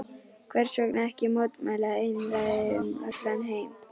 Hversvegna ekki mótmæla einræði um allan heim?